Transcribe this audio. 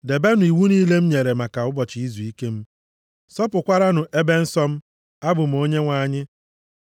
“ ‘Debenụ iwu niile m nyere maka ụbọchị Izuike m, + 26:2 \+xt Lev 19:30\+xt* sọpụkwaranụ ebe nsọ m. Abụ m Onyenwe anyị.